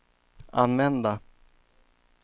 använda